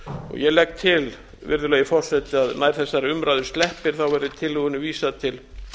ég legg til virðulegi forseti að nær þessari umræðu sleppir verði tillögunni vísað til